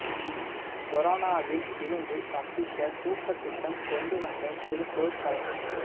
கொரோனாவில் இருந்து தப்பிக்க சூப்பர் திட்டம் கொண்டு வந்த திருப்பூர் கலெக்டர்